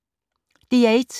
DR1